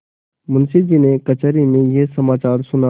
मुंशीजी ने कचहरी में यह समाचार सुना